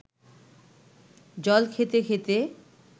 জল খেতে খেতে